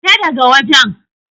Fita da ga wajen!